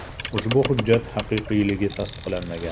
Ushbu hujjat haqiqiyligi tasdiqlanmagan.